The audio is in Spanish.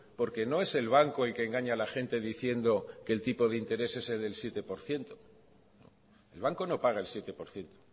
porque no es el banco el que engaña a la gente diciendo que el tipo de interés es el del siete por ciento el banco no paga el siete por ciento